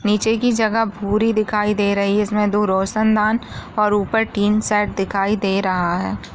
नीचे की जगह पूरी दिखाई दे रही है जिसमे दो रोशनदान और ऊपर टिन शेड दिखाई दे रहा है।